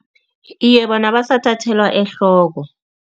Iye, bona basathathelwa ehloko.